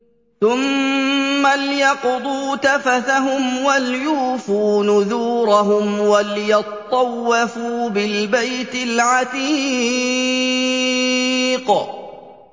ثُمَّ لْيَقْضُوا تَفَثَهُمْ وَلْيُوفُوا نُذُورَهُمْ وَلْيَطَّوَّفُوا بِالْبَيْتِ الْعَتِيقِ